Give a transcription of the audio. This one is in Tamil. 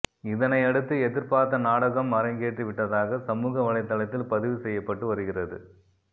இதனை அடுத்து எதிர்பார்த்த நாடகம் அரங்கேற்றி விட்டதாக சமூக வலைத்தளத்தில் பதிவு செய்யப்பட்டு வருகிறது